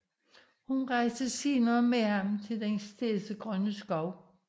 Hun rejste senere med ham til Den Stedsegrønne Skov